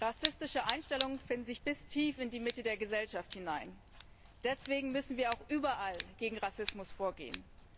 Rassistische Einstellungen finden sich bis tief in die Mitte der Gesellschaft hinein. Deswegen müssen wir auch überall gegen Rassismus vorgehen.